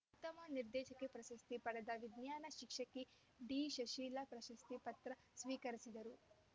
ಉತ್ತಮ ನಿರ್ದೇಶಕಿ ಪ್ರಶಸ್ತಿ ಪಡೆದ ವಿಜ್ಞಾನ ಶಿಕ್ಷಕಿ ಡಿಶಶಿಲಾ ಪ್ರಶಸ್ತಿ ಪತ್ರ ಸ್ವಿಕರಿಸಿದರು